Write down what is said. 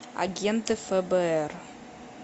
агенты фбр